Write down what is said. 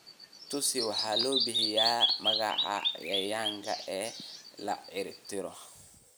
Tutsis waxaa loo bixiyay magaca "cayayaan" in la ciribtiro.